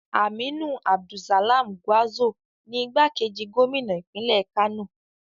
Aminu Abdussalam Gwarzo ni igbákejì gómìnà ìpínlẹ̀ Kano.